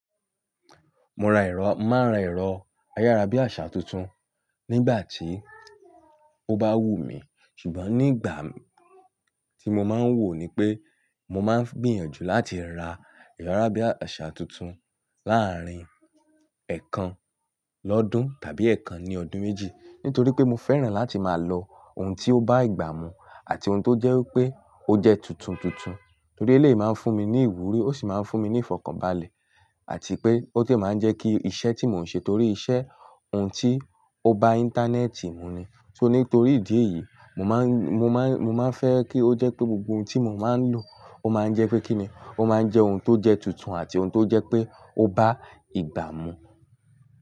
Mo ra erọ́, màá ra erọ́ ayárábiàsà tuntun nígbà tí ó bá wù mí. Ṣùgbọ́n nígbà tí mo máa ń wò ni pé mo máa ń gbìyànjú láti ra erọ̀ yarábíàṣà tuntun láàárín ẹ̀kan lọ́dún tàbí ẹ̀kan ní ọdún méjì. Nítorí pé mo fẹ́ràn láti máa lo ohun tí ó bá ìgbà mu àti ohun tó jẹ́ pé ó jẹ tuntun tuntun. Torí e le máa ń fún mi ní ìwúrí ó sì máa ń fún mi ní ìfọ̀kànbalẹ̀ àti pé ó sì máa ń jẹ́ kí iṣẹ́ tí mò ń ṣe torí iṣẹ́ ohun tí ó bá Internet mu ni. Só Nítorí ìdí èyí, mo máa ń, mo máa ń, mo máa ń fẹ́ kí ó jẹ́ pé gbogbo ohun tí mo máa ń lò ó máa ń jẹ́ pé kíni, ó máa ń jẹ́ ohun tó jẹ tuntun àti ohun tó jẹ́ pé ó bá ìgbà mu.